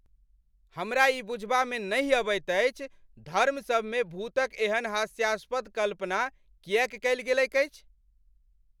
हमरा ई बुझबामे नहि अबैत अछि धर्मसभमे भूतक एहन हास्यास्पद कल्पना किएक कयल गेलैक अछि।